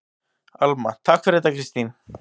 Alma: Takk fyrir þetta Kristín.